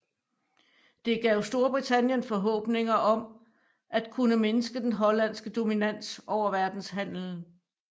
Det gav Storbritannien forhåbninger om at kunne mindske den hollandske dominans over verdenshandelen